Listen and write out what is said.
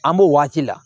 An b'o waati la